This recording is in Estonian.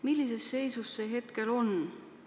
Millises seisus see hetkel on?